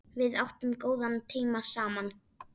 Við áttum góða tíma saman.